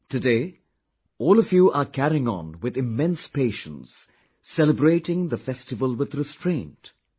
Today, all of you are carrying on with immense patience, celebrating the festival with restraint...